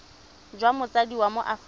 jwa motsadi wa mo aforika